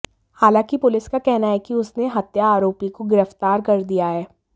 हालांकि पुलिस का कहना है कि उसने हत्या आरोपी को गिरफ्तार कर दिया है